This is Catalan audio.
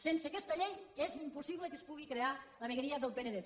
sense aquesta llei és impossible que es pugui crear la vegueria del penedès